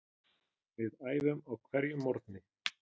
Við æfðum á hverjum morgni.